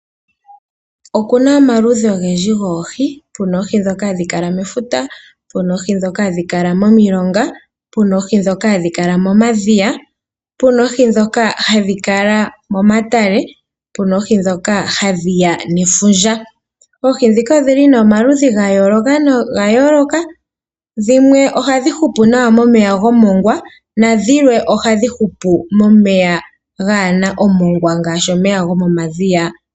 Oku na omaludhi ogendji goohi. Puna oohi ndhoka hadhi kala mefuta, puna oohi ndhoka ha dhi kala momilonga, pu na oohi ndhoka hadhi kala momadhiya, pu na oohi ndhoka hadhi kala momatale , pu na wo oohi ndhoka hadhi ya nefundja. Oohi ndhika odhi li nee omaludhi ga yooloka noga yooloka, dhimwe ohadhi hupu nawa momeya gomongwa nadhimwe omomeya gaa na omongwa ngaashi omeya gomomadhiya.